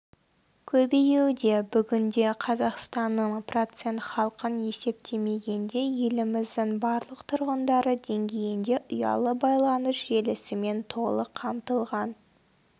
көбеюде бүгінде қазақстанның процент халқын есептемегенде еліміздің барлық тұрғындары деңгейінде ұялы байланыс желісімен толық қамтылған